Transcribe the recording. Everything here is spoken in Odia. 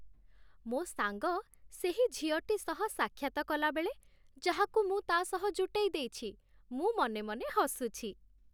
ମୋ ସାଙ୍ଗ ସେହି ଝିଅଟି ସହ ସାକ୍ଷାତ କଲାବେଳେ, ଯାହାକୁ ମୁଁ ତା' ସହ ଜୁଟେଇଦେଇଛି, ମୁଁ ମନେ ମନେ ହସୁଛି।